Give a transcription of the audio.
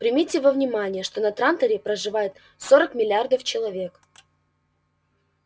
примите во внимание что на транторе проживает сорок миллиардов человек